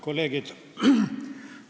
Kolleegid!